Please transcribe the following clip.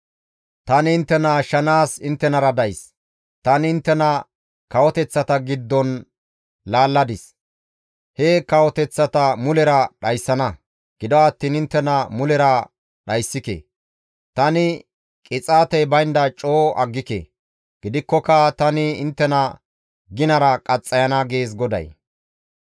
Tani inttena ashshanaas inttenara days; tani inttena kawoteththata giddon laalladis; he kawoteththata mulera dhayssana; gido attiin inttena mulera dhayssike; tani qixaatey baynda coo aggike; gidikkoka tani inttena ginara qaxxayana» gees GODAY.